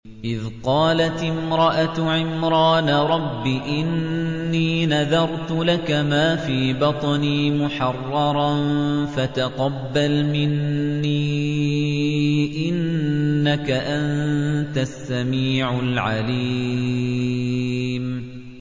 إِذْ قَالَتِ امْرَأَتُ عِمْرَانَ رَبِّ إِنِّي نَذَرْتُ لَكَ مَا فِي بَطْنِي مُحَرَّرًا فَتَقَبَّلْ مِنِّي ۖ إِنَّكَ أَنتَ السَّمِيعُ الْعَلِيمُ